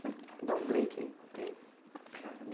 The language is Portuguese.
Sim, dá um break aí